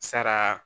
Sara